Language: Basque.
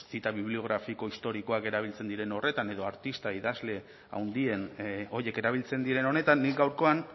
pues zita bibliografiko historikoak erabiltzen diren horretan edo artista idazle haundien horiek erabiltzen diren honetan nik gaurkoan